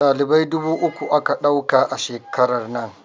Dalibai dubu uku aka ɗauka a shekarar nan